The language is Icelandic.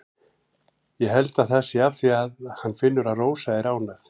Ég held það sé af því að hann finnur að Rósa er ánægð.